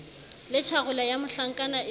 le tjharola ya mohlankana e